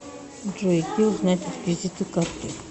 джой где узнать реквизиты карты